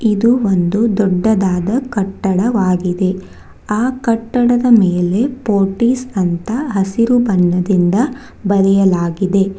ಇದು ಒಂದು ದೊಡ್ಡದಾದ ಕಟ್ಟಡವಾಗಿದೆ ಆ ಕಟ್ಟಡದ ಮೇಲೆ ಫೋರ್ಟಿಸ್ ಅಂತ ಹಸಿರು ಬಣ್ಣದಿಂದ ಬರೆಯಲಾಗಿದೆ.